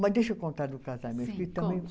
Mas deixa eu contar do casamento. Sim, conte